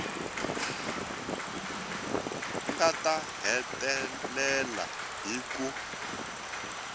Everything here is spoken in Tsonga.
nga ta hetelela hi ku